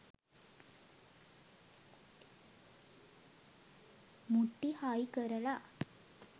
මුට්ටි හයි කරලා